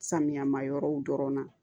Samiya ma yɔrɔw dɔrɔn na